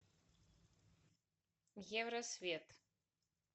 евросвет